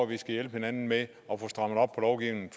vi skal hjælpe hinanden med